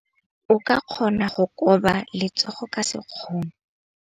O ka kgona go koba letsogo ka sekgono.